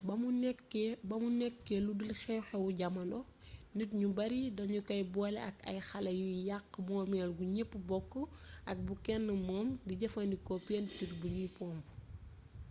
ba mu nekkee lu dul xew xewu jaamono nit ñu bare danu kay boole ak ay xale yuy yàkk moomeel gu ñëpp bokk ak bu kenn moom di jëfandikoo pentuur bu nuy pomp